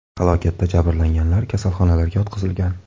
Halokatda jabrlanganlar kasalxonalarga yotqizilgan.